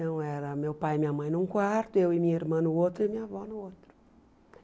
Então era meu pai e minha mãe num quarto, eu e minha irmã no outro e minha avó no outro.